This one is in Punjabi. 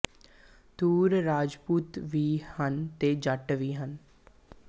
ਤੂਰ ਰਾਜਪੂਤ ਵੀ ਹਨ ਤੇ ਜੱਟ ਵੀ ਹਨ